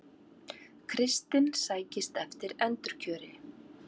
Kristinn sækist eftir endurkjöri